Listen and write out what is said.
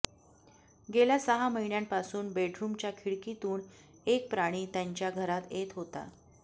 गेल्या सहा महिन्यांपासून बेडरुमच्या खिडकीतून एक प्राणी त्यांच्या घरात येत होता